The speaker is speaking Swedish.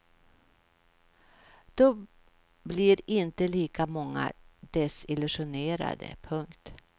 Då blir inte lika många desillusionerade. punkt